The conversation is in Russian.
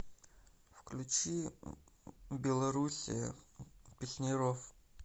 включи белоруссия песняров